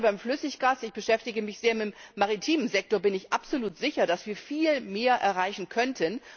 Gerade beim Flüssiggas ich beschäftige mich sehr mit dem maritimen Sektor bin ich absolut sicher, dass wir viel mehr erreichen könnten.